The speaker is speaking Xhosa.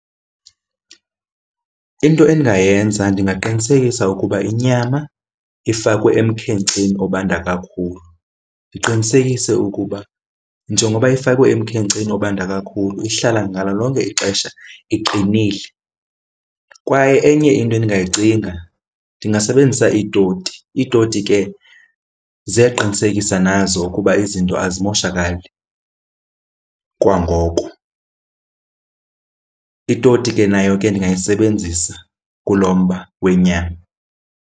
Into endingayenza ndingaqinisekisa ukuba inyama ifakwe emkhenkceni obanda kakhulu. Ndiqinisekise ukuba njengoba ifakwe emkhenkceni obanda kakhulu ihlala ngalo lonke ixesha iqinile. Kwaye enye into endingayicinga ndingasebenzisa iitoti. Iitoti ke ziyaqinisekisa nazo ukuba izinto azimoshakali kwangoko. Itoti ke nayo ke ndingayisebenzisa kulo mba wenyama.